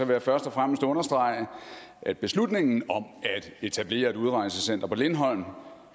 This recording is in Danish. jeg først og fremmest understrege at beslutningen om at etablere et udrejsecenter på lindholm